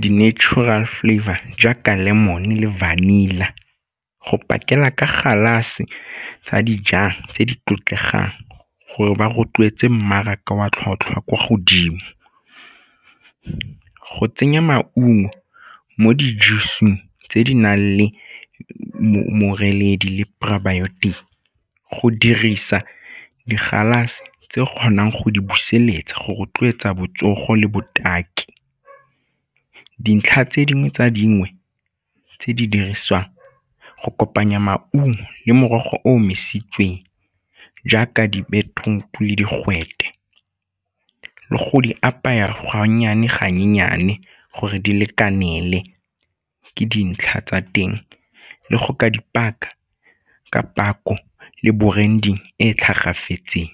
di-natural flavour jaaka lemon le vanilla go pakela ka galase tsa dijang tse di tlotlegang gore ba rotloetse mmaraka wa tlhotlhwa kwa godimo. Go tsenya maungo mo di-juice-song tse di nang le le probiotic, go dirisa di galase tse kgonang go di buseletsa go rotloetsa botsogo le botaki. Dintlha tse dingwe tsa dingwe tse di dirisiwang go kopanya maungo le morogo o omisitsweng jaaka di-beetroot-o le digwete le go di apaya ga nnyane ga nnyane gore di lekanele ke dintlha tsa teng le go ka dipaka ka potlako le bo branding e tlhagafetseng.